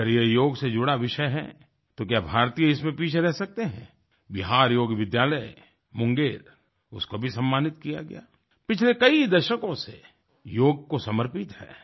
अगर यह योग से जुड़ा विषय है तो क्या भारतीय इसमें पीछे रह सकते हैं बिहार योग विद्यालय मुंगेर उसको भी सम्मानित किया गया पिछले कई दशकों से योग को समर्पित है